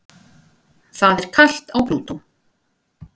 Það er kalt á Plútó.